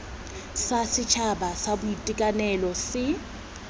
sa setšhaba sa boitekanelo se